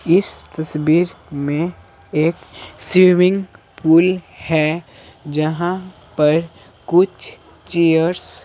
इस तस्वीर में एक स्विमिंग पूल है जहां पर कुछ चेयर्स --